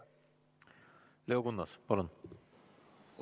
Leo Kunnas, palun!